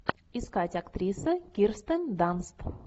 искать актриса кирстен данст